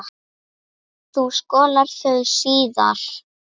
Þú skolar þau síðar.